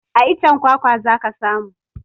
A iccen kwakwa za ka samu